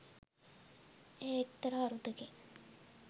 එය එක්තරා අරුතකින්